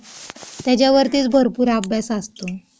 त्याच्यावरतीच भरपूर अभ्यास असतो.